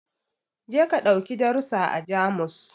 Je ka ɗauki darusa a Jamus